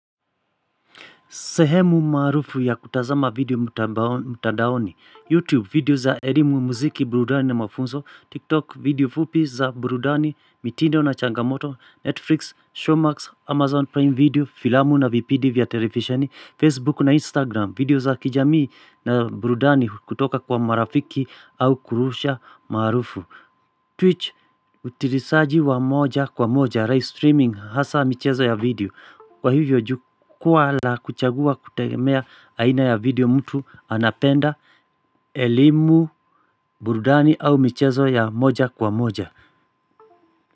Sehemu maarufu ya kutazama video mtandaoni, YouTube video za erimu muziki, burudani na mafunzo, TikTok video fupi za burudani, mitindo na changamoto, Netflix, Showmax, Amazon Prime Video, Filamu na VPD via Televisheni, Facebook na Instagram, video za kijamii na burudani kutoka kwa marafiki au kurusha maarufu. Twitch utilisaji wa moja kwa moja live streaming hasa michezo ya video. Kwa hivyo jukwaa la kuchagua kutegemea aina ya video mtu anapenda elimu burudani au michezo ya moja kwa moja.